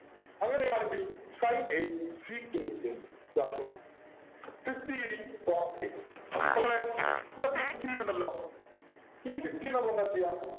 അങ്ങനെയാണെങ്കിൽ sin a sec a എന്ത് ഇതാണ് ചോദ്യം fifteen cot a മക്കളെ മ്മടെ fifteen ഉണ്ടല്ലോ ഈ fifteen നെ നമ്മളെന്താ ചെയ്യാ